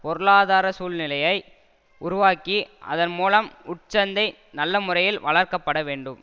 பொருளாதார சூழ்நிலையை உருவாக்கி அதன் மூலம் உட்சந்தை நல்ல முறையில் வளர்க்கப்படவேண்டும்